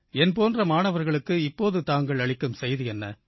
என்போன்ற மாணவர்களுக்குத் இப்போது தாங்கள் அளிக்கும் செய்தி என்ன